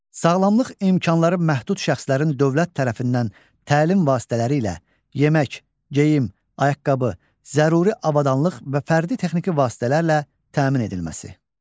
Sağlamlıq imkanları məhdud şəxslərin dövlət tərəfindən təlim vasitələri ilə, yemək, geyim, ayaqqabı, zəruri avadanlıq və fərdi texniki vasitələrlə təmin edilməsi.